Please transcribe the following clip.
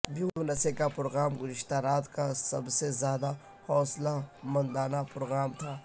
Beyonce کا programme گذشتہ رات کا سب سے زیادہ حوصلہ مندانہ پروگرام تھا